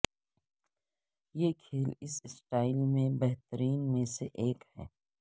یہ کھیل اس سٹائل میں بہترین میں سے ایک ہے